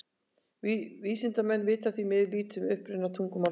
Vísindamenn vita því miður lítið um uppruna tungumálsins.